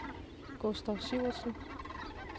Gustav Sivertsen